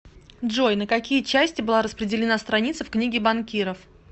джой на какие части была распределена страница в книге банкиров